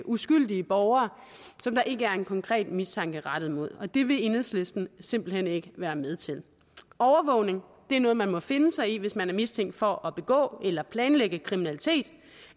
uskyldige borgere som der ikke er en konkret mistanke rettet mod og det vil enhedslisten simpelt hen ikke være med til overvågning er noget man må finde sig i hvis man er mistænkt for at begå eller planlægge kriminalitet